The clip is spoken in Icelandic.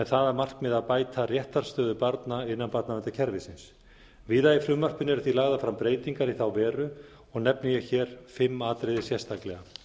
að markmiði að bæta réttarstöðu barna innan barnaverndarkerfisins víða í frumvarpinu eru því lagðar fram breytingar í þá veru og nefni ég hér fimm atriði sérstaklega